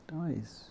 Então é isso.